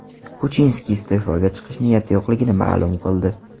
Kuchinski iste’foga chiqish niyati yo‘qligini ma’lum qildi.